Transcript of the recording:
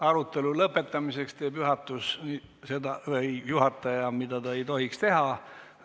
Arutelu lõpetuseks teeb juhataja, mida ta ei tohiks teha.